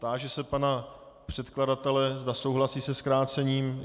Táži se pana předkladatele, zda souhlasí se zkrácením.